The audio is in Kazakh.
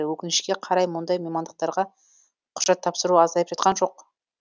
өкінішке қарай мұндай мамандықтарға құжат тапсыру азайып жатқан жоқ